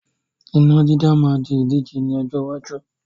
Iná dídá máa di ìdíje ni ọjọ́ iwájú